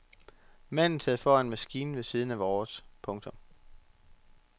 Manden sad foran maskinen ved siden af vores. punktum